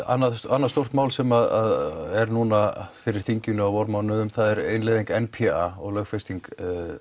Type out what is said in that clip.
annað annað stórt mál sem er núna fyrir þinginu á vormánuðum er innleiðing n p a og lögfesting